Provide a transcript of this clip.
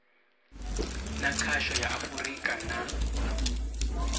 na khasho ya afurika na